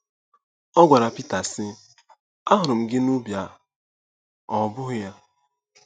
Ọ gwara Pita, sị: "Ahụrụ m gị n'ubi a, ọ bụghị ya?"